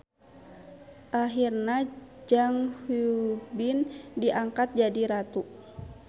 Ahirna Jang Hui-bin diangkat jadi ratu.